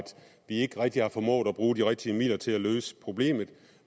vi ikke rigtig har formået at bruge de rigtige midler til at løse problemet